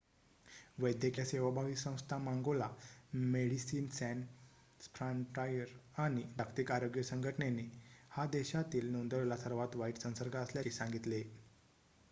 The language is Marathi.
वैद्यकीय सेवाभावी संस्था मांगोला मेडिसिन सॅन्स फ्रॉन्टायर आणि जागतिक आरोग्य संघटनेने हा देशातील नोंदवलेला सर्वात वाईट संसर्ग असल्याचे सांगितले